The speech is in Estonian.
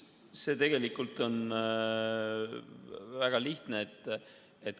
See on tegelikult väga lihtne.